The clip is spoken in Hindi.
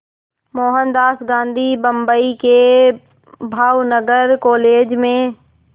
मोहनदास गांधी बम्बई के भावनगर कॉलेज में